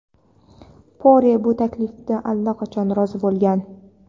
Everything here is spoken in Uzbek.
Pore bu taklifga allaqachon rozi bo‘lgan.